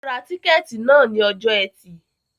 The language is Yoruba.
Ó Ra tíkẹ́tì náà ni ọjọ́ ẹtì